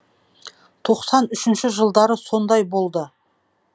тоқсан үшінші жылдары сондай болды